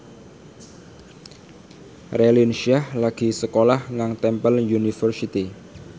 Raline Shah lagi sekolah nang Temple University